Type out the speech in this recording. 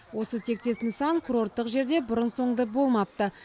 осы тектес нысан курорттық жерде бұрын соңды болмапты